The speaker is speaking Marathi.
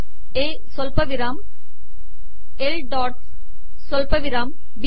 ए सवलपिवराम एल डॉटस सवलपिवराम बी